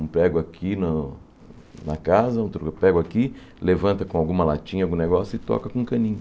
Um prego aqui no na casa, outro prego aqui, levanta com alguma latinha, algum negócio e toca com um caninho.